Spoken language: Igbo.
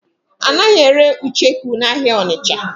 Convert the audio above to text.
A naghị ere ucheku n'ahịa Ọnịcha.